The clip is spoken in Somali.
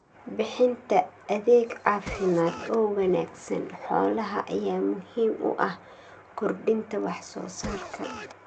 Bixinta adeeg caafimaad oo wanaagsan xoolaha ayaa muhiim u ah kordhinta wax soo saarka.